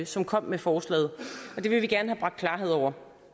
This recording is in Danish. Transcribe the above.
som kom med forslaget og det vil vi gerne have bragt klarhed over